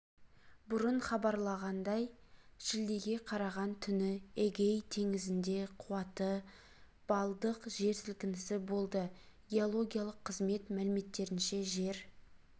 бұрын хабарланғандай шілдеге қараған түні эгей теңізінде қуаты баллдық жер сілкінісі болды геологиялық қызмет мәліметтерінше жер